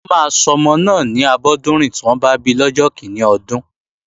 Wọ́n máa sọmọ náà ni Abọ́dúnrìn tí wọ́n bá bi lọ́jọ́ kíní ọdún